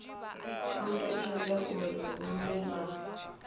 kombetshedza uri hu vhe na